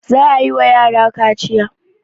Za a yi wa yara kaciya.